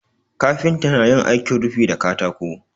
Kafinta na yin aikin rufi da katako.